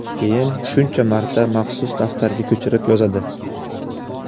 Keyin shuncha marta maxsus daftarga ko‘chirib yozadi.